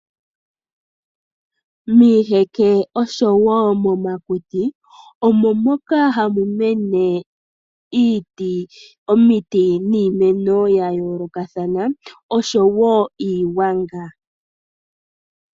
Miiheke oshowo momakuti omo moka hamu mene omiti niimeno ya yoolokathana, oshowo iigwanga.